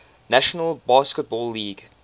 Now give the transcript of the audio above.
national basketball league